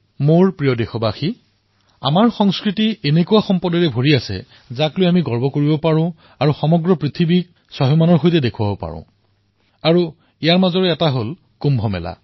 মোৰ মৰমৰ দেশবাসীসকল আমাৰ সংস্কৃতিত এনেকুৱা সম্পদ আছে যাক লৈ আমি গৌৰৱ কৰিব পাৰোঁ আৰু সমগ্ৰ বিশ্বকে স্বাভিমানৰ সৈতে প্ৰদৰ্শিত কৰিব পাৰোঁতাৰে ভিতৰত হল কুম্ভ মেলা